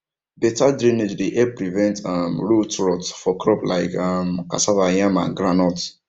better drainage dey help prevent um root rot for crops like um cassava yam and groundnut